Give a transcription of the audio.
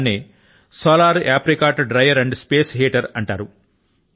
దాన్నే solar apricot dryer and space heater అంటారు